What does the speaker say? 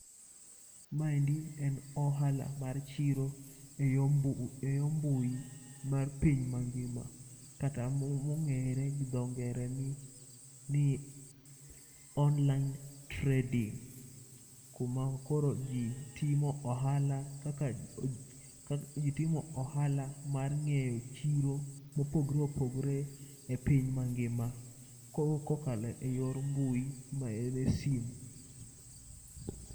Ma endi en ohala mar chiro e yo eyo mbui mar piny mangima kata mongere gi dho ngere ni ni online trading. Kuma koro ji timo ohala kaka ji timo ohala mar ng'eyo chiro mopogore opgore e piny mangima ka okalo e yor mbui ma ene sim.